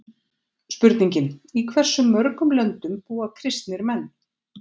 Spurningin Í hversu mörgum löndum búa kristnir menn?